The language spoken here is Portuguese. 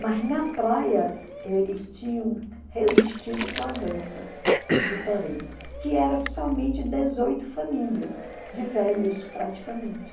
Mas na praia eles tinham resistido com a dança do Torém, que era somente dezoito famílias, de velhos praticamente.